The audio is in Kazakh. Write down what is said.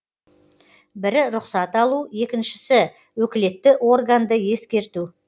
бірі рұқсат алу екіншісі өкілетті органды ескерту